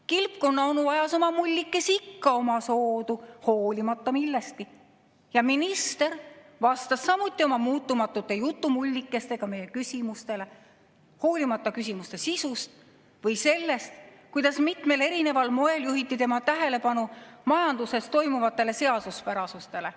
Kilpkonnaonu ajas oma mullikesi ikka omasoodu, hoolimata millestki, ja minister vastas oma muutumatute jutumullikestega meie küsimustele, hoolimata küsimuse sisust või sellest, kuidas mitmel moel juhiti tema tähelepanu majanduses toimivatele seaduspärasustele.